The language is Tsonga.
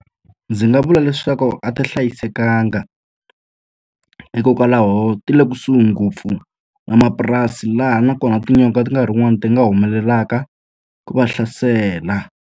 Ndzi nga vula leswaku a ti hlayisekanga. Hikokwalaho ti le kusuhi ngopfu na mapurasi laha nakona tinyonga ti nkarhi wun'wani ti nga humelelaka ku va hlasela.